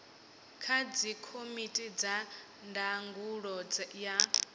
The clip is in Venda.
kha dzikomiti dza ndangulo ya